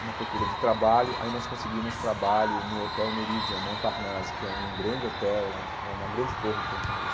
Uma procura de trabalho, aí nós conseguimos trabalho no Hotel Meridian, Montparnasse, que é um grande hotel lá, é uma grande torre que tem em Paris.